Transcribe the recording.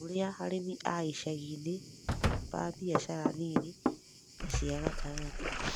ta ũrĩa arĩmi a icagi-inĩ ba biashara nini na cia gatagatĩ